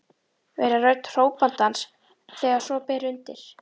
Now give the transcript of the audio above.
Vera rödd hrópandans þegar svo ber undir.